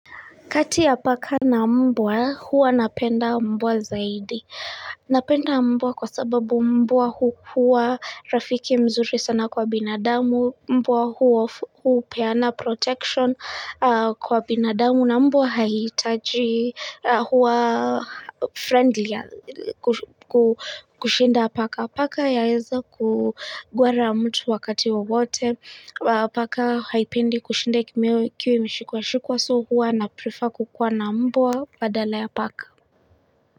Kati ya paka na mbwa, huwa napenda mbwa zaidi. Napenda mbwa kwa sababu mbwa huwa rafiki mzuri sana kwa binadamu, mbwa huwa hupeana protection kwa binadamu, Kuna mbwa haitaji huwa friendly ya kushinda paka paka yaeza kugwara mtu wakati wowote paka haipendi kushinda ikiwa imeshikwa shikwa so huwa na prefer kukuwa na mbwa badala ya paka.